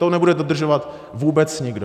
To nebude dodržovat vůbec nikdo.